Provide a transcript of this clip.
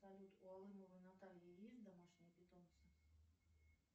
салют у алымовой натальи есть домашние питомцы